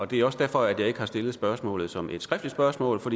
det er også derfor jeg ikke har stillet spørgsmålet som et skriftligt spørgsmål for